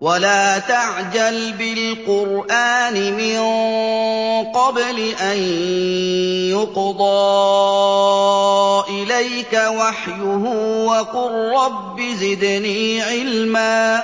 وَلَا تَعْجَلْ بِالْقُرْآنِ مِن قَبْلِ أَن يُقْضَىٰ إِلَيْكَ وَحْيُهُ ۖ وَقُل رَّبِّ زِدْنِي عِلْمًا